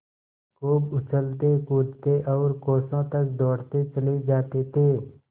खूब उछलतेकूदते और कोसों तक दौड़ते चले जाते थे